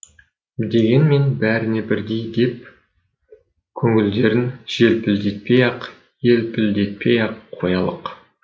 дегенмен бәріне бірдей деп көңілдерін желпілдетпей ақ елпілдетпей ақ қоялық